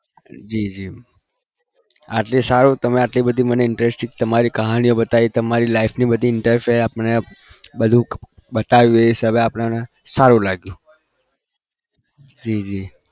જી જી આટલી સારું તમે આટલી બધી મને interesting તમારી કહાની બતાવી તમારી life ની બધી interfere આપણે બધું બતાવ્યું એ सब આપણે સારું લાગ્યું જી જી